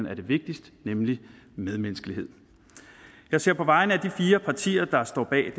er det vigtigste nemlig medmenneskelighed jeg ser på vegne af de fire partier der står bag